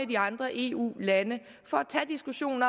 de andre eu lande tager diskussionen